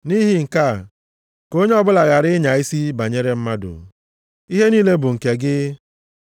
Nʼihi nke a, ka onye ọbụla ghara ịnya isi banyere mmadụ. Ihe niile bụ nke gị.